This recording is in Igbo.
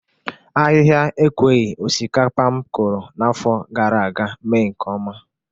Ahịha ekweghi osikapa m kụrụ n'afọ gara aga mee nke ọma.